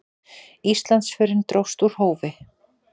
Íslandsförin dróst úr hófi.